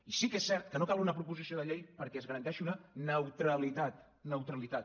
i sí que és cert que no cal una proposició de llei perquè es garanteixi una neutralitat neutralitat